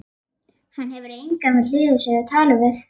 Hann hefur engan við hlið sér til að tala við.